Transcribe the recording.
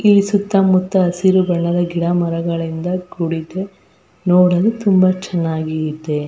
ಈ ಸುತ್ತಮುತ್ತ ಹಸಿರು ಬಣ್ಣದ ಗಿಡ ಮರಗಳಿಂದ ಕೂಡಿದ್ದು ನೋಡಲು ತುಂಬಾ ಚೆನ್ನಾಗಿ ಇದೆ.